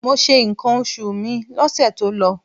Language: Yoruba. Mo ṣe nǹkan oṣù mi lọ́sẹ̀ tó lọ.